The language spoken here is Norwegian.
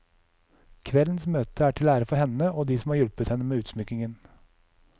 Kveldens møte er til ære for henne, og de som har hjulpet henne med utsmykningen.